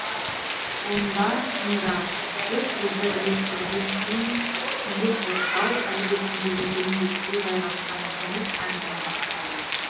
онда тыңда деп бізді ілестірген күйі қоршау іргесіндегі дөңбекке жайғасқан жүніс әңгіме бастады